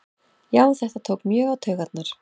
Já þetta tók mjög á taugarnar